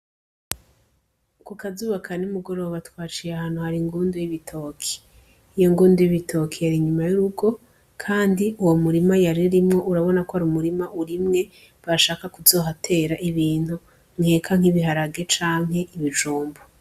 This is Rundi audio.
Kukazuba kanimugoroba twaciye ahantu hari ingundu y'ibitoke, iyo ngundu y'ibitoke yari inyuma y'urugo ,kandi uwo murima yaririmwo urabona ko arumurima urimye bashaka kuzohatera ibintu nkeka nk'ibiharage canke ibijumbu.